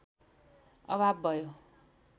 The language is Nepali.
अभाव भयो